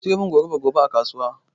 Ki siyomin goruba gobe a kasuwa